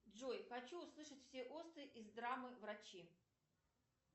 джой хочу услышать все осты из драмы врачи